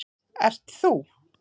ert ÞÚ.